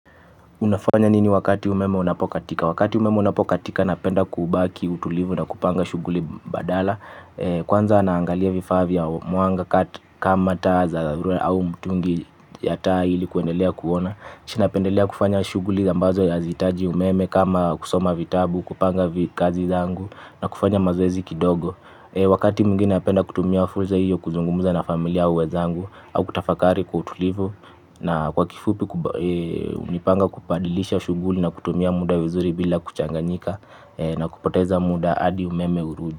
Unafanya nini wakati umeme unapokatika? Wakati umeme unapokatika napenda kubaki utulivu na kupanga shughuli badala. Kwanza naangalia vifaa vya mwanga kama taa za au mtungi ya taa ili kuendelea kuona. Cnapendelea kufanya shughuli ambazo ya hazihitaji umeme kama kusoma vitabu, kupanga kazi zangu na kufanya mazoezi kidogo. Wakati mwingine napenda kutumia fursa hiyo kuzungumuza na familia au wenzangu au kutafakari kwa utulivu na kwa kifupi hunipanga kubadilisha shughuli na kutumia muda vizuri bila kuchanganyika na kupoteza muda hadi umeme urudi.